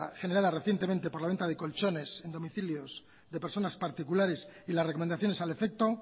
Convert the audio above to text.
generada recientemente por la venta de colchones en domicilios de personas particulares y las recomendaciones al efecto